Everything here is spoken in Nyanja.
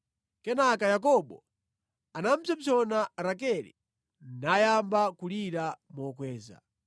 Kenaka Yakobo anapsompsona Rakele nayamba kulira mokweza.